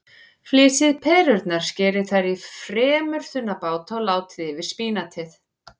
Flysjið perurnar, skerið þær í fremur þunna báta og látið yfir spínatið.